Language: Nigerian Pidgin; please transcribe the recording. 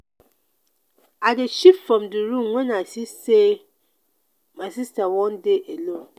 i dey shift from di room wen i see sey my sista wan dey alone.